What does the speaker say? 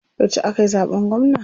Yauce akayi zaɓen gwamna?